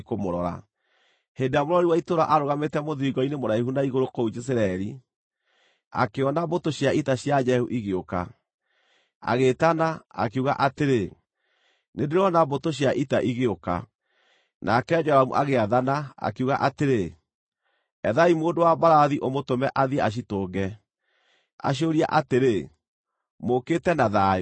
Hĩndĩ ĩrĩa mũrori wa itũũra aarũgamĩte mũthiringo-inĩ mũraihu na igũrũ kũu Jezireeli, akĩona mbũtũ cia ita cia Jehu igĩũka, agĩĩtana, akiuga atĩrĩ, “Nĩndĩrona mbũtũ cia ita igĩũka.” Nake Joramu agĩathana, akiuga atĩrĩ, “Ethaai mũndũ wa mbarathi, ũmũtũme athiĩ acitũnge, aciũrie atĩrĩ, ‘Mũũkĩte na thayũ’?”